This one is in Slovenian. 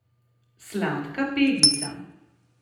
Sladka Pegica.